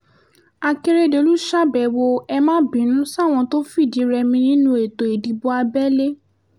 akérèdòlù ṣàbẹ̀wò ẹ̀ má bínú sáwọn tó fìdí-rẹmi nínú ètò ìdìbò abẹ́lé